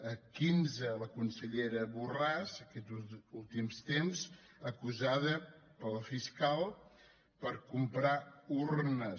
quinze la consellera borràs aquests últims temps acusada pel fiscal per comprar urnes